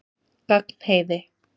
Gagnheiði